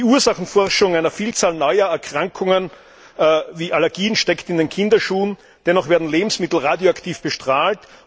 Die Ursachenforschung einer Vielzahl neuer Erkrankungen, wie Allergien, steckt in den Kinderschuhen, dennoch werden Lebensmittel radioaktiv bestrahlt.